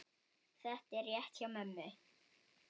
Þetta er rétt hjá mömmu.